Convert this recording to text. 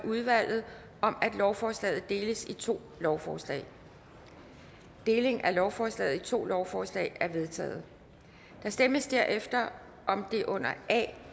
af udvalget om at lovforslaget deles i to lovforslag deling af lovforslaget i to lovforslag er vedtaget der stemmes derefter om det under a